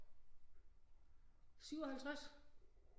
57